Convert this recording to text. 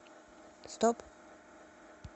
стоп